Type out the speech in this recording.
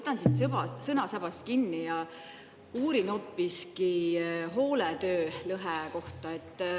Ma võtan siin sõnasabast kinni ja uurin hoopiski hooletöölõhe kohta.